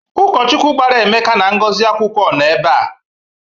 Ụkọchukwu gbara Emeka na Ngozi akwụkwọ nọ ebe a.